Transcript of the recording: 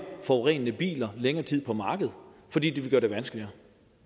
forurenende biler længere tid på markedet fordi det vil gøre det vanskeligere